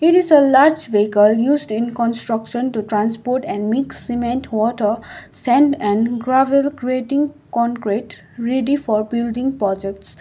it is a large vehicle used in construction to transport and mix cement water sand and gravel grating concrete ready for building projects.